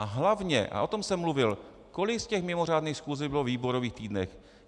A hlavně, a o tom jsem mluvil, kolik z těch mimořádných schůzi bylo ve výborových týdnech?